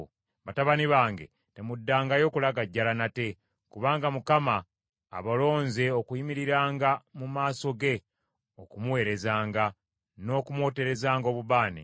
Batabani bange temuddangayo kulagajjala nate, kubanga Mukama abalonze okuyimiriranga mu maaso ge okumuweerezanga, n’okumwoterezanga obubaane.”